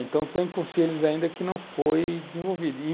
Então tem conselhos ainda que não foram desenvolvidos.